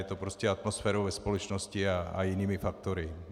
Je to prostě atmosférou ve společnosti a jinými faktory.